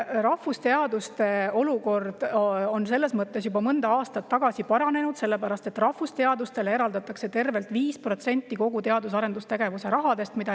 Rahvusteaduste olukord on selles mõttes juba mõni aasta tagasi paranenud, et rahvusteadustele eraldatakse tervelt 5% kogu teadus‑ ja arendustegevuse rahast.